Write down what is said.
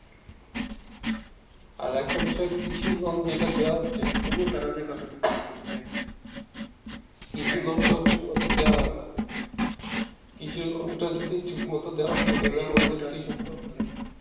আর একটা বিষয় কৃষি লোন যেটা দেওয়া হচ্ছে কৃষি লোনটা যদি ঠিক মতো দেওয়া হয় না কৃষি লোনটা যদি ঠিক মতো দেওয়া হতো